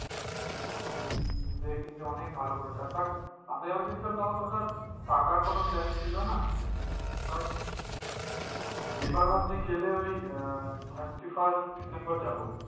দেখি যে অনেক ভালো করেছে but আমি যখন গিয়েছিলাম তখন তো ধর থাকার তো কোনো plan ছিল না but আবার ভাবছি গেলে ওই থার্টি ফার্স্ট ডিসেম্বর যাবো।